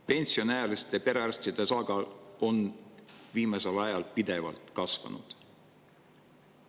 Pensioniealiste perearstide osakaal on viimasel ajal pidevalt kasvanud.